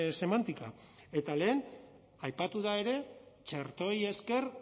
semántica eta lehen aipatu da ere txertoei esker